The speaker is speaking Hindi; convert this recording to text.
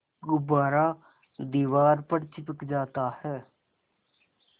गुब्बारा दीवार पर चिपक जाता है